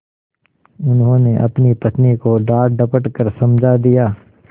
उन्होंने अपनी पत्नी को डाँटडपट कर समझा दिया